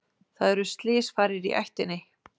Það eru slysfarir í ættinni.